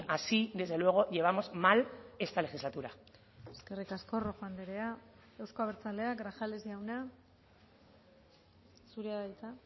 así desde luego llevamos mal esta legislatura eskerrik asko rojo andrea euzko abertzaleak grajales jauna zurea da hitza